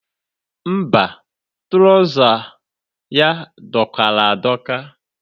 Mba, tụrawụza ya dọkara adọka.